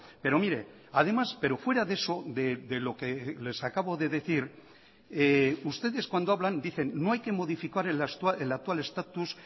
pero mire además pero fuera de eso de lo que les acabo de decir ustedes cuando hablan dicen no hay que modificar el actual estatus